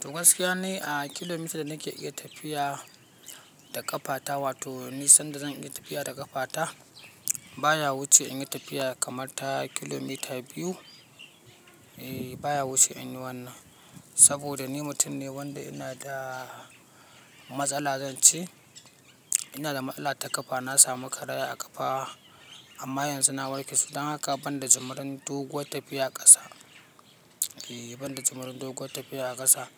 To gaskiya ni a kilomita da nake iya tafiya da ƙafata, wato ni sanda zan iya tafiya da ƙafata baya wuce in yi tafiya kamar ta kilomita biyu. Eh baya wuce in yi wannan, saboda ni mutum ne wanda ina da matsala zan ce ina da matsala ta ƙafa. Na samu karaya a ƙafa amma yanzu na warke. Dan haka banda jimarin doguwar tafiya a ƙasa, eh banda jimirin doguwar tafiya a ƙasa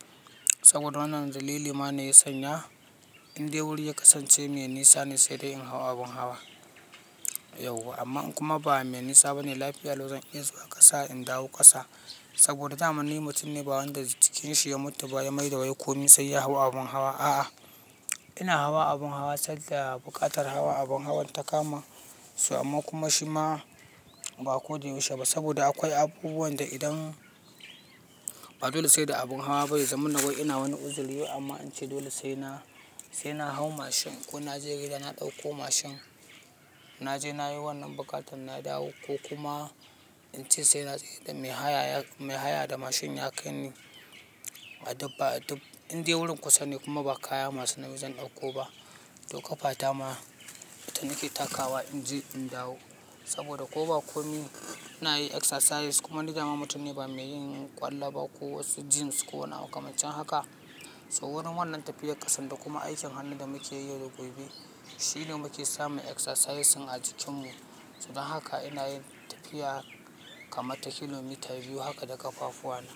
saboda wannan dalili ma ne ya sanya in dai wuri ya kasance mai nisa ne sai dai in hau abin hawa. Yauwa amma in kuma ba mai nisa ba ne lafiya lau zan iya zuwa ƙasa in dawo ƙasa saboda dama ni mutum ne ba wanda jikin shi ya mutu ba, ya mai da wai komai sai ya hau abin hawa. A'a, ina hawa abun hawa sanda buƙatar hawa abun hawan ta kama so amma kuma shi ma ba ko da yaushe ba saboda akwai abubuwan da idan ba dole sai da abun hawa ba yazama na wai. Ina wani uzuri amma an ce dole sai na, sai na hau machine ko na je gida na ɗauko machine. Na je na yi wannan buƙatan na dawo ko kuma in ce sai na tsayar da mai haya, mai haya da machine ya kai ni. A dubba dub, in dai wurin kusa ne kuma ba kaya masu nauyi zan ɗauko ba to ƙafata ma ita nake takawa in je in dawo saboda ko ba komi na yi exercise kuma ni dama mutum ne ba mai yin ƙwallo ba ko wasu gyms ko wani abu makaman shin haka. So wurin wannan tafiyar ƙasan da kuma aikin hannun da muke yi yau da gobe shi ne muke samun exercise ɗin a jikinmu. So dan haka ina yin tafiya kamar ta kilomita biyu haka da ƙafafuwa na.